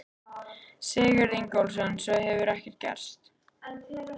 Sigurður Ingólfsson: Svo hefur ekkert gerst?